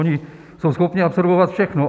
Ony jsou schopni absorbovat všechno.